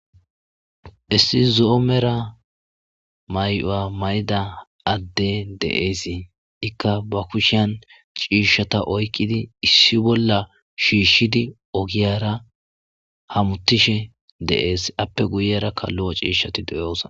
issi zo7omera may7o7a mayda adde de7eesii ikka ba kushiyan ciishshata oykqidi issi bolla shiishshidi ogiyara hamuttishe deees appe guyerakka lu7o ciishshati deyoosa